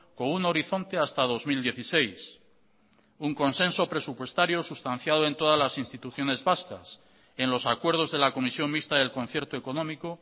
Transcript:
con un horizonte hasta dos mil dieciséis un consenso presupuestario sustanciado en todas las instituciones vascas en los acuerdos de la comisión mixta del concierto económico